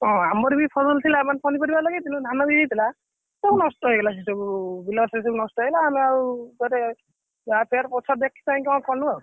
ହଁ ଆମର ବି ଫସଲ ଥିଲା ମାନେ ପନିପରିବା ଲାଗିଥିଲା ଧାନ ବି ଲାଗିଥିଲା ସବୁ ନଷ୍ଟ ହେଇଗଲା ସେସବୁ ବିଲ ସବୁ ନଷ୍ଟ ହେଇଗଲା ଆମେ ଆଉ କୁଆଡେ ଇଆଡେ ସିଆଡେ ଦେଖିକି କଣ କଲୁଆଉ?